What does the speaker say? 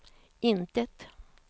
intet